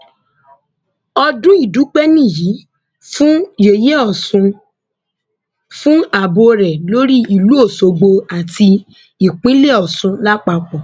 ọdún ìdúpẹ nìyí fún yẹyẹ ọsùn fún ààbò rẹ lórí ìlú ọṣọgbó àti ìpínlẹ ọsùn lápapọ